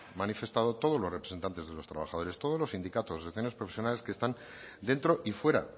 manifestado todos los representantes de los trabajadores todos los sindicatos asociaciones profesionales que están dentro y fuera